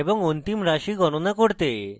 এবং অন্তিম রাশি গণনা করতে